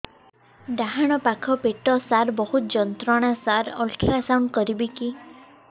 ଡାହାଣ ପାଖ ପେଟ ସାର ବହୁତ ଯନ୍ତ୍ରଣା ସାର ଅଲଟ୍ରାସାଉଣ୍ଡ କରିବି କି